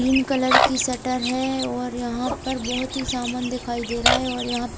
pink colour की shutter है और यहां पर बहोत ही समान दिखाई दे रहा है और यहां पर--